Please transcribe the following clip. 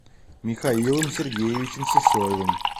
михаилом сергеевичем сысоевым